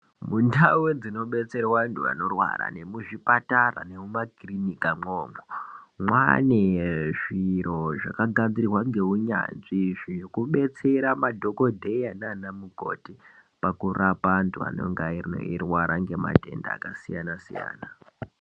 Mundau dzinobetserwe antu ankrwara nemuzvipatara nemumakirinika mwomwo mwane zviro zvakagadzirwa ngeunyanzvi Zvekubetsera madhokodheya nana mukoti pakurapa antu anenga eirwara ngematenda akasiyana siyana.